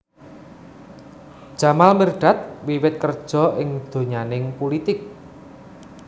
Jamal Mirdad wiwit kerja ing donyaning pulitik